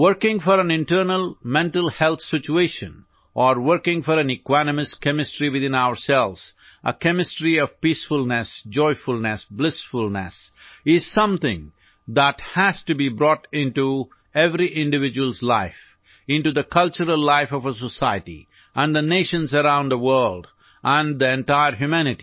Working for an internal mental health situation or working for an equanimous chemistry within ourselves, a chemistry of peacefulness, joyfulness, blissfulness is something that has to be brought into every individual's life; into the cultural life of a society and the Nations around the world and the entire humanity